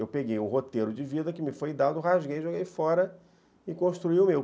Eu peguei o roteiro de vida que me foi dado, rasguei, joguei fora e construí o meu.